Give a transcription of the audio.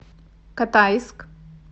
катайск